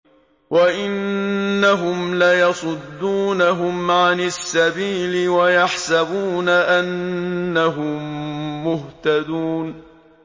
وَإِنَّهُمْ لَيَصُدُّونَهُمْ عَنِ السَّبِيلِ وَيَحْسَبُونَ أَنَّهُم مُّهْتَدُونَ